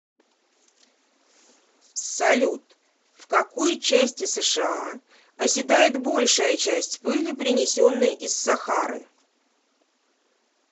салют в какой части сша оседает большая часть пыли принесенной из сахары